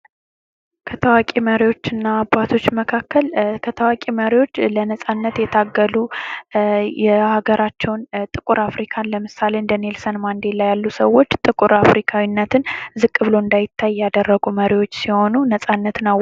ከታዋቂ መሪዎችና አባቶች መካከል ከታዋቂ መሪዎች ለነጻነት የተገዙ የሀገራቸውን ጥቁር አፍሪካን ለምሳሌ፦ እንደ ኔልሰን ማንዴላ ያሉ ሰዎች ጥቁር አፍሪካዊነትን ዝቅ ብለው እንዳይታይ ያደረጉ መሪዎች ሲሆኑትን ነጻነትን አው....